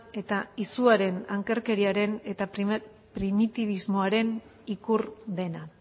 eta izuaren ankerkeriaren eta primitibismoaren ikur dena